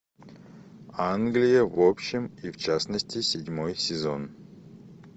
англия в общем и в частности седьмой сезон